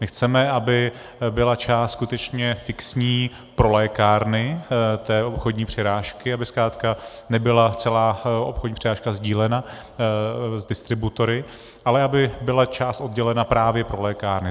My chceme, aby byla část skutečně fixní pro lékárny té obchodní přirážky, aby zkrátka nebyla celá obchodní přirážka sdílena s distributory, ale aby byla část oddělena právě pro lékárny.